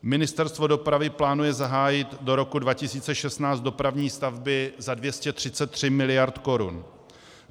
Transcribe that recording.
Ministerstvo dopravy plánuje zahájit do roku 2016 dopravní stavby za 233 mld. korun.